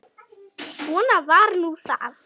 Svona var nú það.